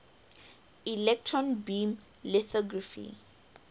electron beam lithography